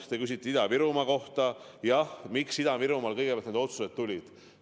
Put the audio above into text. Te küsite Ida-Virumaa kohta, miks Ida-Virumaal kõigepealt need otsused tulid.